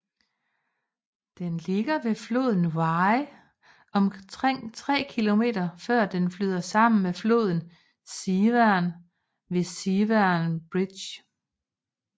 Den ligger ved floden Wye omkring 3 km før dne flyder sammen med floden Severn ved Severn Bridge